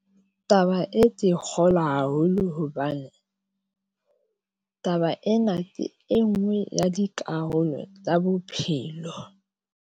Taba e ke kgolwa haholo hobane taba ena ke e nngwe ya dikarolo tsa bophelo.